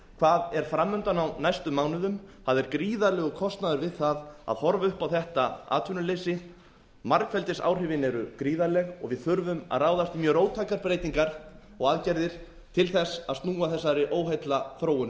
hvað er framundan á næstu mánuðum það er gríðarlegur kostnaður við það að horfa upp á þetta atvinnuleysi margfeldisáhrifin eru gríðarleg og við þurfum að ráðast í mjög róttækar breytingar og aðgerðir til þess að snúa þessari óheillaþróun